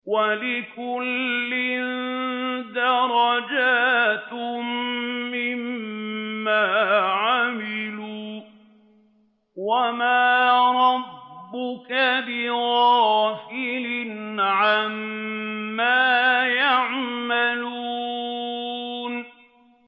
وَلِكُلٍّ دَرَجَاتٌ مِّمَّا عَمِلُوا ۚ وَمَا رَبُّكَ بِغَافِلٍ عَمَّا يَعْمَلُونَ